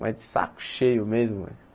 Mas de saco cheio mesmo.